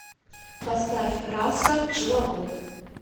поставь раса пчеловод